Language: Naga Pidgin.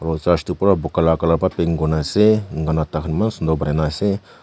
aro church tu pura buka la colour pa paint kurna ase enka kurna tahan eman sunder banai na ase.